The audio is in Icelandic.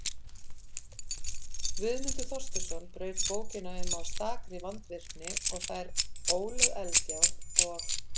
Guðmundur Þorsteinsson braut bókina um af stakri vandvirkni og þær Ólöf Eldjárn og